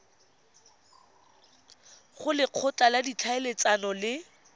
go lekgotla la ditlhaeletsano le